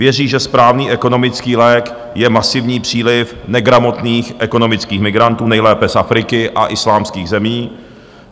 Věří, že správný ekonomický lék je masivní příliv negramotných ekonomických migrantů, nejlépe z Afriky a islámských zemí.